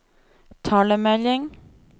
talemelding